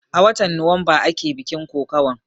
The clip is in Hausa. A watan nuwamba ake bikin kokawan